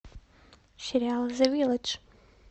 сериал зе вилладж